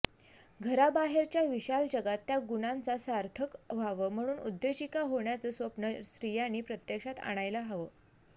घराबाहेरच्या विशाल जगात त्या गुणांचं सार्थक व्हावं म्हणून उद्योजिका होण्याचं स्वप्न स्त्रियांनी प्रत्यक्षात आणायला हवं